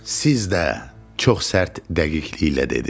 Siz də, çox sərt dəqiqliklə dedi.